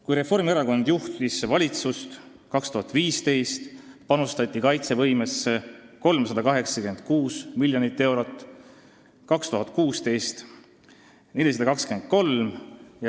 Kui Reformierakond juhtis valitsust, panustati kaitsevõimesse 2015. aastal 386 miljonit ja 2016. aastal 423 miljonit eurot.